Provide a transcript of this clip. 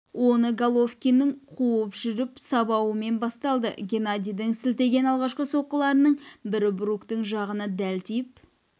оны головкиннің қуып жүріп сабауымен басталды геннадидің сілтеген алғашқы соққыларының бірі бруктың жағына дәл тиіп